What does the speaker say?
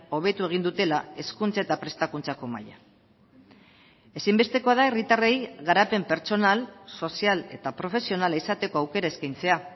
hobetu egin dutela hezkuntza eta prestakuntzako maila ezinbestekoa da herritarrei garapen pertsonal sozial eta profesionala izateko aukera eskaintzea